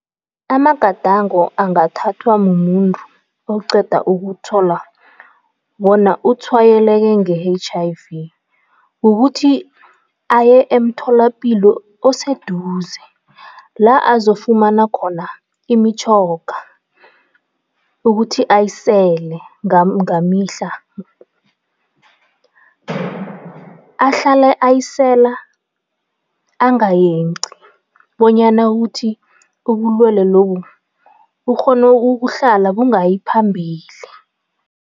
Amagadango angathathwa mumuntu oqeda ukuthola bona utshwayeleke nge-H_I_V, kukuthi aye emtholapilo oseduze, la azofumana khona imitjhoga ukuthi ayisele ngamihla, ahlale ayisela angayenqi bonyana ukuthi ubulwelwe lobu bukghone ukuhlala bungayi phambili.